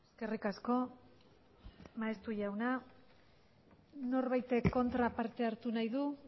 eskerrik asko maeztu jauna norbaitek kontra parte hartu nahi du